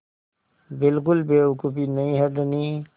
बिल्कुल बेवकूफ़ी नहीं है धनी